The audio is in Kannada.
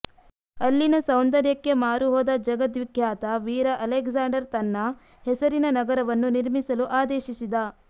ಅಲ್ಲಿನ ಸೌಂದರ್ಯಕ್ಕೆ ಮಾರುಹೋದ ಜಗದ್ವಿಖ್ಯಾತ ವೀರ ಅಲೆಕ್ಸಾಂಡರ್ ತನ್ನ ಹೆಸರಿನ ನಗರವನ್ನು ನಿರ್ಮಿಸಲು ಆದೇಶಿಸಿದ